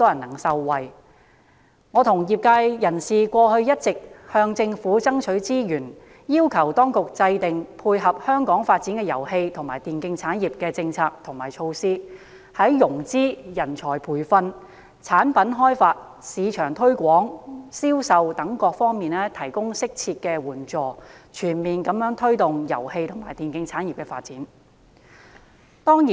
其實，我和業界人士一直向政府爭取資源，要求當局制訂配合香港遊戲及電競產業發展的政策和措施，從融資、人才培訓、產品開發、市場推廣、銷售等各方面提供適切援助，全面推動遊戲及電競產業的發展。